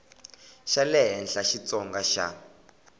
xa le henhla xitsonga xa